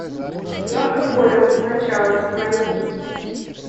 киношка голем начало найти